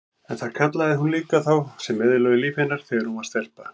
En það kallaði hún líka þá sem eyðilögðu líf hennar þegar hún var stelpa.